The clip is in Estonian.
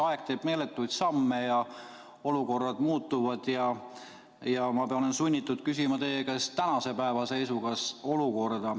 Aeg teeb meeletuid samme ja olukorrad muutuvad, ja ma olen sunnitud küsima teie käest tänase päeva olukorra kohta.